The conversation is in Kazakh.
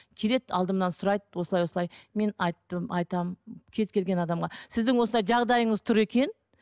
келеді алдымнан сұрайды осылай осылай мен айттым айтамын кез келген адамға сіздің осындай жағдайыңыз тұр екен